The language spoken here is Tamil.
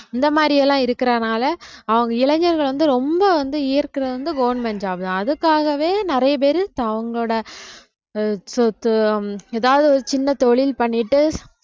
இந்த மாதிரி எல்லாம் இருக்கிறதுனால அவங்க இளைஞர்கள் வந்து ரொம்ப வந்து ஈயர்க்கறது வந்து government job தான் அதுக்காகவே நிறைய பேரு தான் அவங்களோட ஆஹ் சொத்து உம் ஏதாவது ஒரு சின்ன தொழில் பண்ணிட்டு